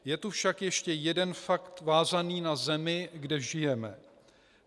Je tu však ještě jeden fakt vázaný na zemi, kde žijeme.